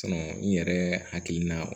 n yɛrɛ hakilina